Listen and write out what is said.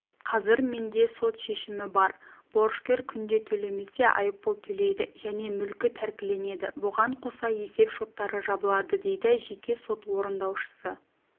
қазір менде сот шешімі бар борышкер күнде төлемесе айыппұл төлейді және мүлкі тәркіленеді бұған қоса есеп-шоттары жабылады дейді жеке сот орындаушысы